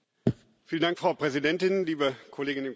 Frau Präsidentin, liebe Kolleginnen und Kollegen!